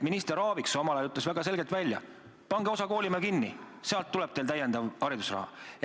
Minister Aaviksoo ütles omal ajal väga selgelt välja, et pange osa koolimaju kinni, sealt tuleb teile täiendav haridusraha.